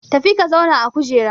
Tafi ka zauna a kujera!